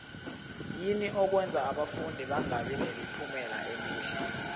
yini okwenza abafundi bangabi nemiphumela emihle